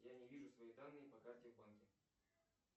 я не вижу свои данные по карте в банке